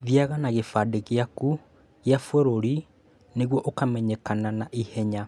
Thiaga na gĩbandĩ gĩaku kĩa bũrũri nĩguo ũkamenyenekana na ihenya